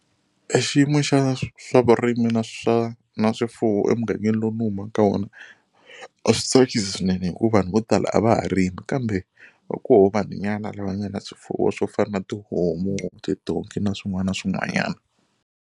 I xiyimo xa swa vurimi na swa na swifuwo emugangeni lowu ni humaka ka wona a swi tsakisi swinene hikuva vanhu vo tala a va ha rimi kambe va koho vanhunyana lava nga na swifuwo swo fana na tihomu tidonki na swin'wana na swin'wanyana.